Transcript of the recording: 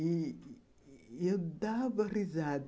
E e eu dava risada.